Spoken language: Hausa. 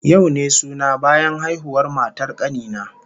Yau ne suna bayan haihuwar matar kani na